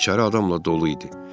İçəri adamla dolu idi.